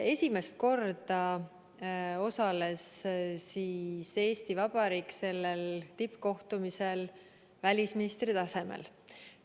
Esimest korda osales Eesti Vabariik sellel tippkohtumisel välisministri tasemel.